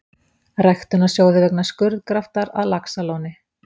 Ræktunarsjóði vegna skurðgraftar að Laxalóni.